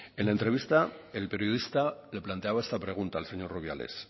en la entrevista el periodista le planteaba esta pregunta al señor rubiales